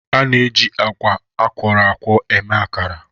A na-eji agwa akwọrọ akwọ eme akara.